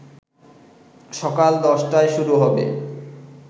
সকাল ১০টায় শুরু হবে